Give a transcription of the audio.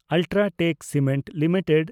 UltraTech cement limited